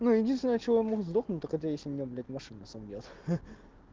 ну единственное от чего я могу сдохнуть так это если меня блять машина собьёт ха